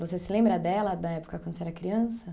Você se lembra dela da época quando você era criança?